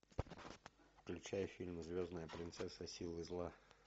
включай фильм звездная принцесса и силы зла